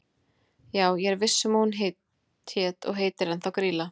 Já ég er viss um að hún hét og heitir ennþá Grýla.